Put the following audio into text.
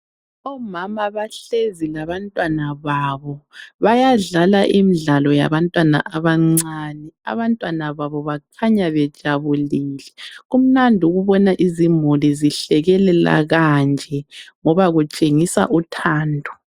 Omama bahlezi labantwana babo. Bayadlala imdlalo yabantwana abancane. Abantwana babo bakhanya bejabulile. Kumnand' ukubona izimuli zihlekelela kanje. Ngoba kutshengisa uthando.